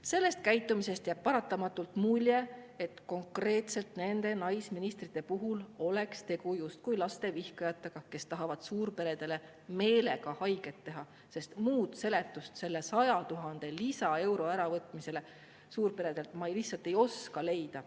Sellisest käitumisest jääb paratamatult mulje, et konkreetselt nende naisministrite puhul oleks tegu justkui lastevihkajatega, kes tahavad suurperedele meelega haiget teha, sest muud seletust selle 100 000 lisaeuro äravõtmisele suurperedelt ma lihtsalt ei oska leida.